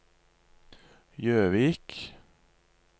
Jøvik